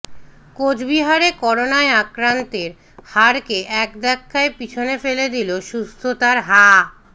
কোচবিহারে করোনায় আক্রান্তের হারকে এক ধাক্কায় পিছনে ফেলে দিল সুস্থতার হা